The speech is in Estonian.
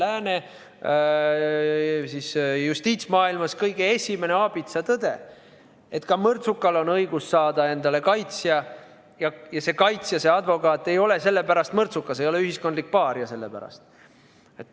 Lääne justiitsmaailma kõige esimene aabitsatõde on see, et ka mõrtsukal on õigus saada endale kaitsja, ja see kaitsja, see advokaat, ei ole sellepärast veel ise mõrtsukas, ühiskondlik paaria.